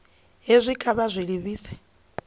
hezwi kha vha zwi livhise